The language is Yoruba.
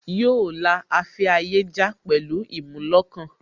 Yóò la afẹ́ ayé já pẹ̀lú ìmúlọkàn